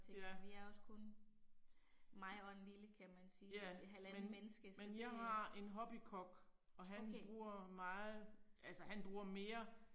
Ja. Ja men men jeg har en hobbykok, og han bruger meget altså han bruger mere